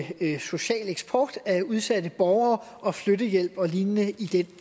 social eksport af udsatte borgere og flyttehjælp og lign i